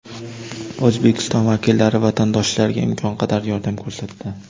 O‘zbekiston vakillari vatandoshlarga imkon qadar yordam ko‘rsatdi.